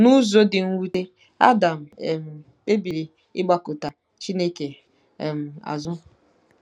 N'ụzọ dị mwute, Adam um kpebiri ịgbakụta Chineke um azụ.